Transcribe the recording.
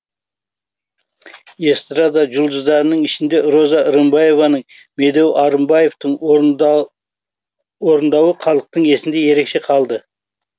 эстрада жұлдыздарының ішінде роза рымбаеваның медеу арынбаевтың орындауы халықтың есінде ерекше қалды